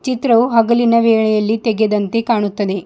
ಚಿತ್ರವು ಹಗಲಿನ ವೇಳೆಯಲ್ಲಿ ತೆಗೆದಂತೆ ಕಾಣುತ್ತದೆ.